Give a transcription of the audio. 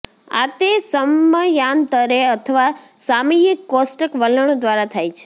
આ તે સમયાંતરે અથવા સામયિક કોષ્ટક વલણો દ્વારા થાય છે